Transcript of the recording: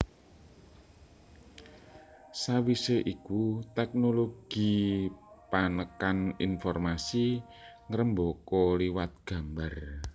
Sawisé iku tèknologi panekan informasi ngrembaka liwat gambar